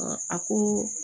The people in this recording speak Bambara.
a ko